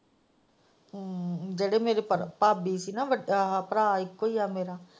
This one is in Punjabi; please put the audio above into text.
ਜਿਹੜੇ ਮੇਰੇ ਭਾਬੀ ਸੀ ਨਾਂ ਭਰਾ ਇੱਕੋ ਹੀ ਹੈ ਮੇਰਾ।